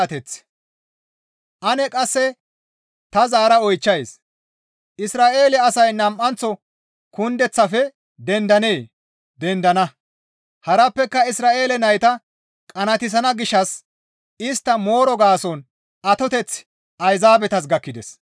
Ane qasse ta zaara oychchays; Isra7eele asay kundeththaafe nam7anththo dendennee? Dendana. Harappeka Isra7eele nayta qanaatissana gishshas istta mooro gaason atoteththi Ayzaabetas gakkides.